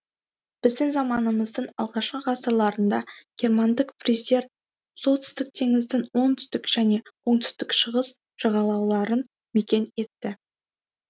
біздің заманымыздың алғашқы ғасырларында германдық фриздер солтүстік теңіздің оңтүстік және оңтүстік шығыс жағалауларын мекен етті